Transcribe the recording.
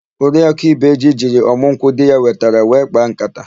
Oriakụ ibeji jiri ọmụ nkwụ di ya wetara wee kpaa nkata.